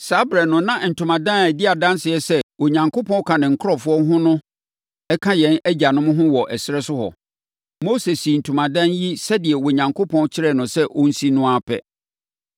“Saa ɛberɛ no na ntomadan a ɛdi adanseɛ sɛ Onyankopɔn ka ne manfoɔ ho no ka yɛn agyanom ho wɔ ɛserɛ so hɔ. Mose sii ntomadan yi sɛdeɛ Onyankopɔn kyerɛɛ no sɛ ɔnsi no no ara pɛ.